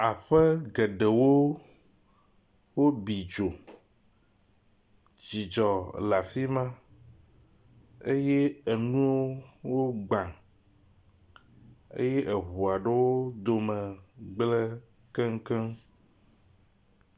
Aƒe geɖewo wobi dzo, dzidzɔ le afi ma eye enuawo wogbã eye eŋua ɖewo wo dome gblẽ keŋkeŋ